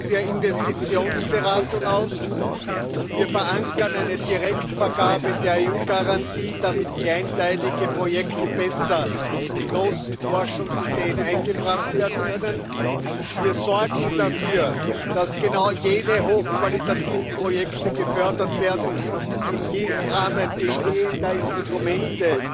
der Investitionsberatung aus, wir verankern eine Direktvergabe der EU Garantie, damit kleinteilige Projekte besser in große Forschungsideen eingebracht werden können, wir sorgen dafür, dass genau jene hochqualitativen Projekte gefördert werden, die im Rahmen bestehender Instrumente